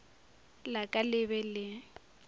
la ka le be le